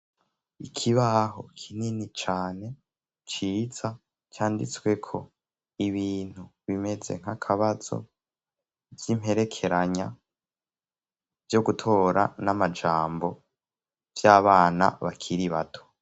ikibaho kinini cane ciza canditsweko ibintu bimeze nk'akabazo vy'imperekeranya vyo gutora n'amajambo vy'abana bakiri bato